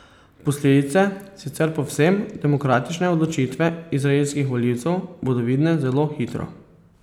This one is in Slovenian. Posledice sicer povsem demokratične odločitve izraelskih volivcev bodo vidne zelo hitro.